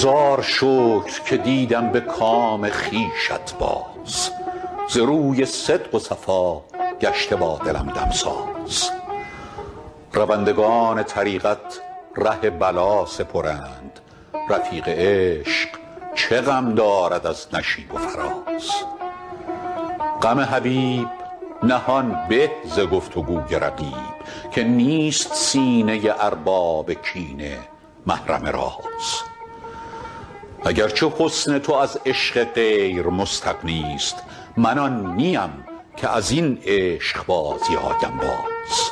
هزار شکر که دیدم به کام خویشت باز ز روی صدق و صفا گشته با دلم دمساز روندگان طریقت ره بلا سپرند رفیق عشق چه غم دارد از نشیب و فراز غم حبیب نهان به ز گفت و گوی رقیب که نیست سینه ارباب کینه محرم راز اگر چه حسن تو از عشق غیر مستغنی ست من آن نیم که از این عشق بازی آیم باز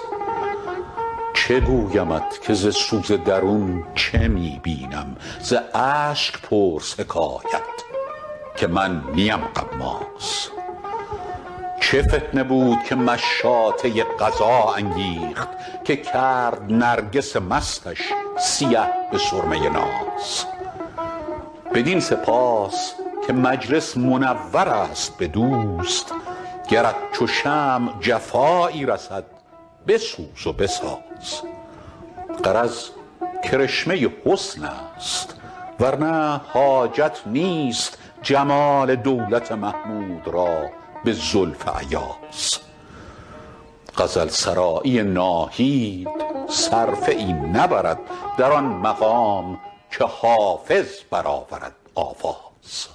چه گویمت که ز سوز درون چه می بینم ز اشک پرس حکایت که من نیم غماز چه فتنه بود که مشاطه قضا انگیخت که کرد نرگس مستش سیه به سرمه ناز بدین سپاس که مجلس منور است به دوست گرت چو شمع جفایی رسد بسوز و بساز غرض کرشمه حسن است ور نه حاجت نیست جمال دولت محمود را به زلف ایاز غزل سرایی ناهید صرفه ای نبرد در آن مقام که حافظ برآورد آواز